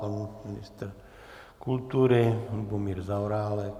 Pan ministr kultury Lubomír Zaorálek.